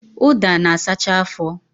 Ụda na-asacha afọ